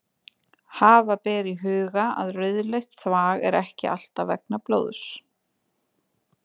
Hafa ber í huga að rauðleitt þvag er ekki alltaf vegna blóðs.